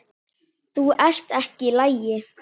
Þú ert ekki í lagi.